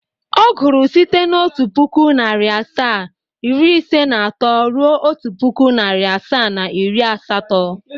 Ọ gụrụ site n'otu pụkụ, narị asaa, iri ise na atọ ruo otu pụkụ, narị asaa, na iri asatọ.